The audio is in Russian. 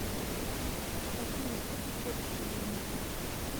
афина что ты хочешь от меня